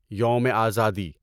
یوم آزادی